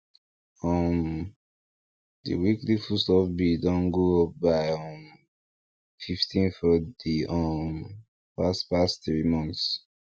um the weekly foodstuff bill don go up by um fifteen for the um past past three months